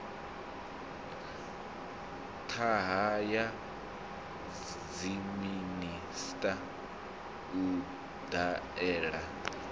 ṱahe ya dziminisiṱa u dalela